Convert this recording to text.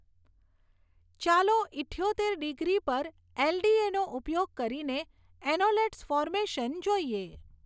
ચાલો ઈઠ્યોતેર ડિગ્રી પર એલડીએનો ઉપયોગ કરીને એન્ઓલેટ્સ ફોર્મેશન જોઈએ.